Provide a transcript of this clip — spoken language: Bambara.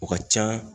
O ka ca